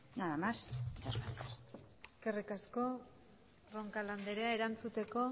nada más muchas gracias eskerrik asko roncal andrea erantzuteko